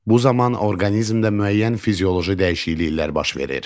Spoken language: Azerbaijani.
Bu zaman orqanizmdə müəyyən fizioloji dəyişikliklər baş verir.